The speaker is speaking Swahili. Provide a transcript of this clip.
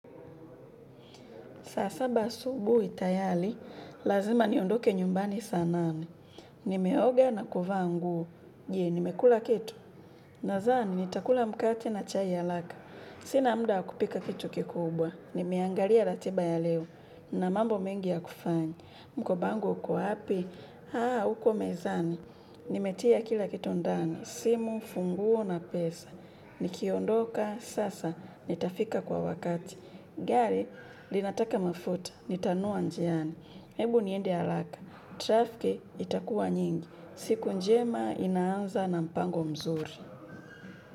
Saa saba asubuhi tayari, lazima niondoke nyumbani saa nane. Nimeoga na kuvaa nguo. Je, nimekula kitu. Nadhani, nitakula mkate na chai haraka. Sina muda wa kupika kitu kikubwa. Nimeangalia ratiba ya leo. Na mambo mengi ya kufanya mkoba wangu uko wapi. Haa, huko mezani. Nimetia kila kitu ndani. Simu, funguo na pesa. Nikiondoka, sasa, nitafika kwa wakati. Gari, linataka mafuta, nitanunua njiani. Ebu niende haraka, trafiki itakuwa nyingi. Siku njema inaanza na mpango mzuri.